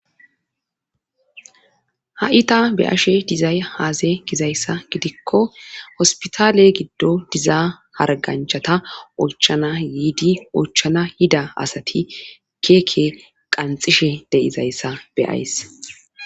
ha7i ta be ashe dizay haaze gizayssa gidikko hospitaale giddo diza harganchata oychana yidi oychana yida asati keeke qanxishe deizayssa be,ays